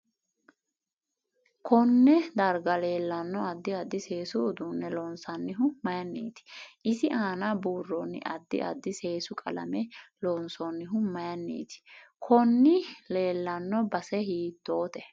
Konne dargga leelanno addi addi seesu uduune loonaoonihu mayiiniiti iai aana burooni addi addi seesu qalame loonsoonihu mayiiniiti koni leelanno base hiitoote